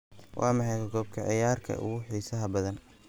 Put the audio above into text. waa maxay qoob ka ciyaarka ugu xiisaha badan